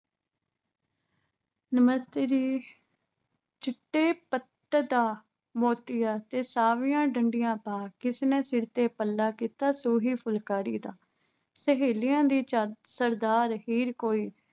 ਨਮਸਤੇ ਜੀ ਚਿੱਟੇ ਪੱਤ ਦਾ ਮੋਤੀਆਂਤੇ ਸਾਵੀਆਂ ਡੰਡੀਆਂ ਪਾ, ਕਿਸੇ ਨੇ ਸਿਰ ਪੱਲਾ ਕੀਤਾ ਸੂਹੀ ਫੁਲਕਾਰੀ ਦਾ। ਸਹੇਲਿਆਂ ਦੀ ਚਾਦ ਅਹ ਸਰਦਾਰ ਹੀਰ ਕੋਈ